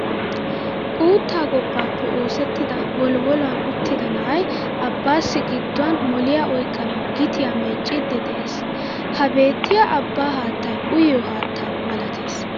Uuttaa gobbaappe oosettida woliwoluwan uttida na'ay abbaassi gidduwan moliya oyqqanawu gitiya micciiddi de'es. Ha beettiya abbaa haattay uyiyo haatta malatees.